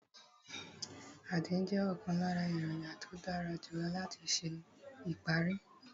Àdín jẹ́ ọ̀kan lára èròjà tí ó dára jù lọ láti ṣe ìparí